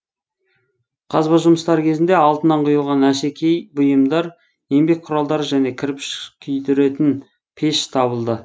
қазба жұмыстары кезінде алтыннан құйылған әшекей бұйымдар еңбек құралдары және кірпіш күйдіретін пеш табылды